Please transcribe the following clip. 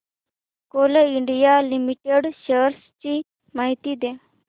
Coal India Limited shares ची माहिती द्या